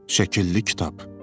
Şəkilli kitab.